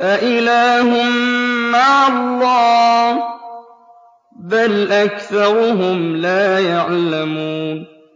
أَإِلَٰهٌ مَّعَ اللَّهِ ۚ بَلْ أَكْثَرُهُمْ لَا يَعْلَمُونَ